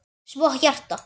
Svo hjarta.